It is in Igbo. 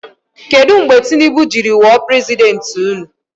Kedụ mgbe Tinibu jiri wụọ prezidenti ụnụ?